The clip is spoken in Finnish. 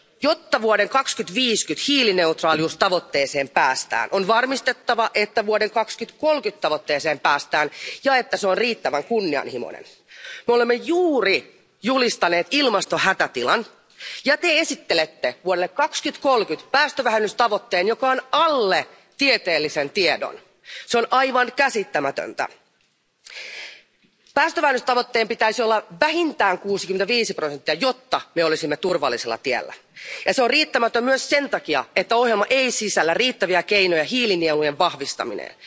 Jotta vuoden 2050 hiilineutraaliustavoitteeseen päästään, on varmistettava, että vuoden 2030 tavoitteeseen päästään ja että se on riittävän kunnianhimoinen. Me olemme juuri julistaneet ilmastohätätilan ja te esittelette vuodelle 2030 päästövähennystavoitteen, joka on alle tieteellisen tiedon. Se on aivan käsittämätöntä! Päästövähennystavoitteen pitäisi olla vähintään 65 prosenttia, jotta me olisimme turvallisella tiellä. Ja se on riittämätön myös sen takia, että ohjelma ei sisällä riittäviä keinoja hiilinielujen vahvistamiseen.